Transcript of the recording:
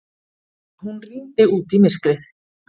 Hún rýndi út í myrkrið.